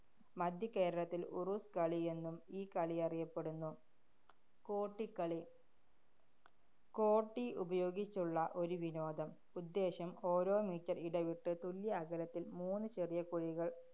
മധ്യകേരളത്തില്‍ ഉറുസ് കളിയെന്നും ഈ കളിയറിയപ്പെടുന്നു. കോട്ടിക്കളി. കോട്ടി ഉപയോഗിച്ചുള്ള ഒരു വിനോദം. ഉദ്ദേശ്യം ഓരോ meter ഇടവിട്ട് തുല്യഅകലത്തില്‍ മൂന്ന് ചെറിയ കുഴികള്‍